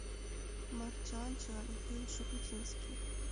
марджанджа михаил шуфутинский